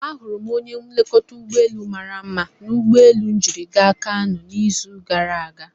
Ahụrụ m onye nlekọta ụgbọelu mara mma na ụgbọelu m jiri gaa Kanu n'izu gara aga.